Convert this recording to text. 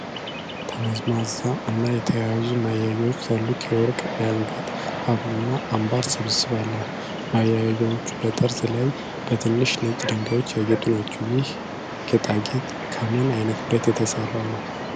ጥምዝምዝ እና የተያያዙ ማያያዣዎች ያሉት የወርቅ የአንገት ሀብል እና አምባር ስብስብ አለ። ማያያዣዎቹ በጠርዝ ላይ በትንሽ ነጭ ድንጋዮች ያጌጡ ናቸው። ይህ ጌጣጌጥ ከምን አይነት ብረት ነው የተሰራው?